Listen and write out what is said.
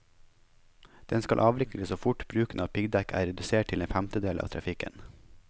Den skal avvikles så fort bruken av piggdekk er redusert til en femtedel av trafikken.